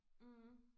Mh